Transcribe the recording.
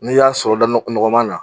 N'i y'a sɔrɔ da ɲɔgɔnma na.